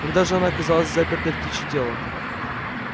когда же она оказалась запертой в птичье тело